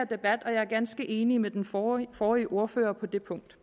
debat og jeg er ganske enig med den forrige forrige ordfører på det punkt